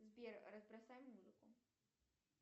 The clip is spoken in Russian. сбер разбросай музыку